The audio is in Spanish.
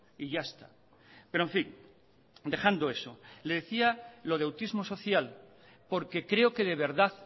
y ya está pero en fin dejando eso le decía lo de autismo social porque creo que de verdad